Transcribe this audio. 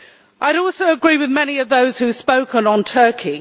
I would also agree with many of those who spoke on Turkey.